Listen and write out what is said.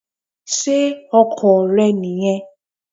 Ṣé ọkọ̀ rẹ nì yẹn?